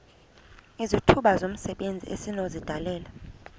izithuba zomsebenzi esinokuzidalela